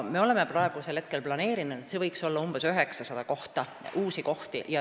Me oleme planeerinud, et võiks olla umbes 900 uut kohta.